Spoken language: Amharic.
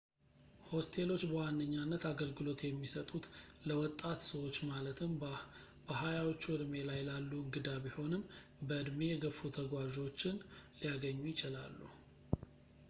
ሆስቴሎች በዋነኛነት አገልግሎት የሚሰጡት ለወጣት ሰዎች ማለትም በሀያዎቹ እድሜ ላይ ላሉ እንግዳ ቢሆንም በእድሜ የገፉ ተጓዦችን ሊያገኙ ይችላሉ